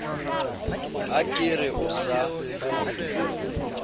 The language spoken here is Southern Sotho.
ha ke re o sa